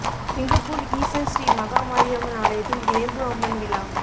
Singapore Yishun Sri Maha Mariamman ஆலயத்தில் வேம்பு அம்மன் விழா